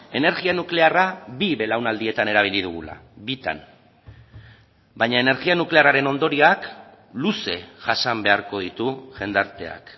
energia nuklearra bi belaunaldietan erabili dugula bitan baina energia nuklearraren ondorioak luze jasan beharko ditu jendarteak